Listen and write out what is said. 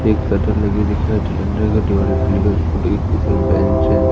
एक शटर लगी दिखाई दी अंडर के टेबल पे सारी बेंच वेंच--